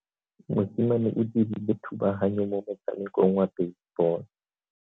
Mosimane o dirile thubaganyo mo motshamekong wa basebolo.